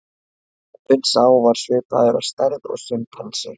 Apinn sá var svipaður að stærð og simpansi.